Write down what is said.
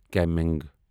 calming